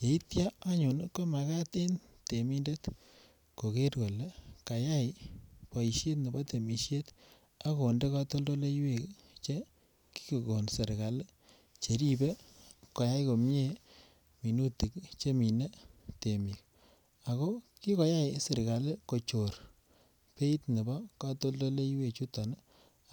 yeityo anyun komakat en temindet koger kole kayay boishet nebo temisiet ak konde kotoldoleywek che kigogon serkali cheribe koyay komie minutik ii chemine temik ako kikoyay serkali kochor beit nebo kotoldoleywek chuton ii